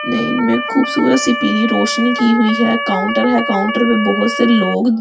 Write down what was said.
में इन्मे खूबसूरत सी पीली रोशनी की हुई है काउंटर है काउंटर में बहौत से लोग --